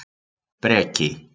Breki